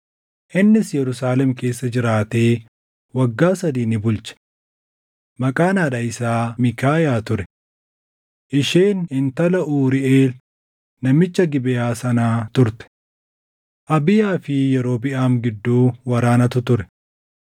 innis Yerusaalem keessa jiraatee waggaa sadii ni bulche. Maqaan haadha isaa Miikaayaa ture; isheen intala Uuriiʼeel namicha Gibeʼaa sanaa turte. Abiyaa fi Yerobiʼaam gidduu waraanatu ture.